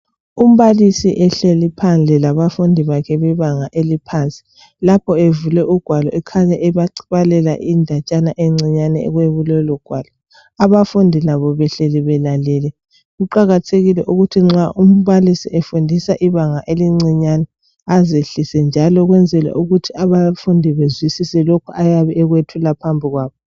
Umbalisi ehleli phandle labafundi bakhe bebanga eliphansi. Lapho evule ugwalo ekhanya ebabalela indatshana encinyane ekulolu ugwalo abafundi labo belalele. Kuqakathekile ukuthi nxa umbalisi befundisa ibanga elincinyane azehlise njalo ukwenzela ukuthi abafundi bezwisise lokhu ayabe ekwethula phambi kwabo.